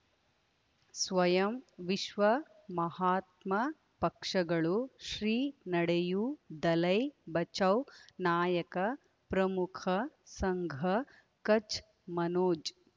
ಸ್ವಯಂ ವಿಶ್ವ ಮಹಾತ್ಮ ಪಕ್ಷಗಳು ಶ್ರೀ ನಡೆಯೂ ದಲೈ ಬಚೌ ನಾಯಕ ಪ್ರಮುಖ ಸಂಘ ಕಚ್ ಮನೋಜ್